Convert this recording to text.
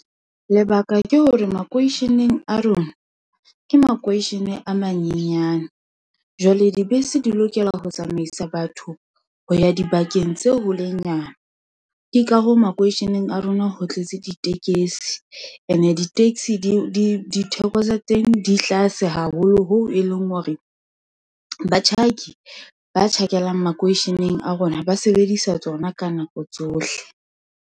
Lebaka ke hore makweisheneng a rona, ke makweisheneng a manyenyane, jwale dibese di lokela ho tsamaisa batho ho ya dibakeng tse holenyana, ke ka hoo makweisheneng a rona ho tletse ditekesi. And-e di-taxi di ditheko tsa teng, di tlase haholo hoo e leng hore, batjhaki ba tjhakeleng makweisheneng a rona, ba sebedisa tsona ka nako tsohle.